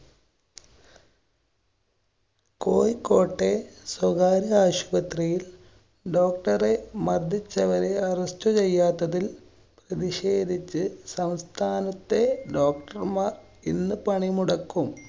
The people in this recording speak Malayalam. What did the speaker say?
കോഴിക്കോട്ടെ സ്വകാര്യാശുപത്രിയില്‍ doctor റെ മര്‍ദ്ദിച്ചവരെ arrest ചെയ്യാത്തതില്‍ പ്രതിഷേധിച്ച് സംസ്ഥാനത്തെ doctor മാര്‍ ഇന്നു പണിമുടക്കും.